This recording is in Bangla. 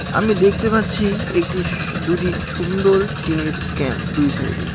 আমি দেখতে পাচ্ছি একটি দুটি সুন্দর টিনের ক্যাম্প দুই সাইডে.